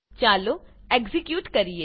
ચાલો એક્ઝીક્યુટ કરીએ